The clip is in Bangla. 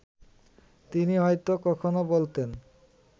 তিনি হয়তো কখনো বলতেন